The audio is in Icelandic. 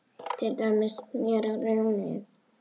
Til dæmis smjör og rjómi!